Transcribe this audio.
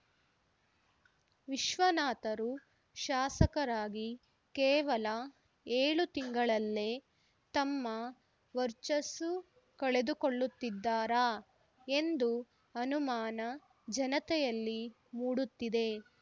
ವಿಶ್ವನಾಥರು ಶಾಸಕರಾಗಿ ಕೇವಲ ಏಳು ತಿಂಗಳಲ್ಲೆ ತಮ್ಮ ವರ್ಚ್ಚಸ್ಸು ಕಳೆದುಕೊಳ್ಳುತ್ತಿದ್ದಾರಾ ಎಂದು ಅನುಮಾನಜನತೆಯಲ್ಲಿ ಮೂಡತ್ತಿದೆ